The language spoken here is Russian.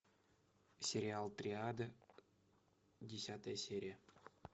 сериал триада десятая серия